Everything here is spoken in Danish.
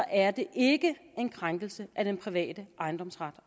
er det ikke en krænkelse af den private ejendomsret